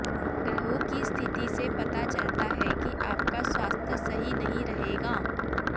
ग्रहों की स्थिति से पता चलता है कि आपका स्वास्थ्य सही नहीं रहेगा